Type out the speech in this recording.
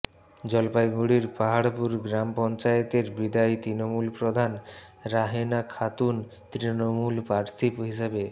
জলপাইগুড়ির পাহাড়পুর গ্রাম পঞ্চায়েতের বিদায়ী তৃণমূল প্রধান রাহেনা খাতুন তৃণমূল প্রার্থী হিসেবে